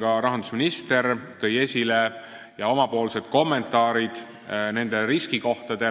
Ka rahandusminister tõi esile need riskikohad,